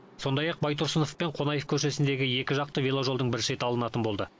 сондай ақ байтұрсынов пен қонаев көшесіндегі екі жақты веложолдың бір шеті алынатын болды